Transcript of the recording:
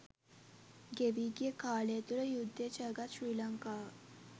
ගෙවී ගිය කාලය තුළ යුද්ධය ජයගත් ශ්‍රී ලංකාව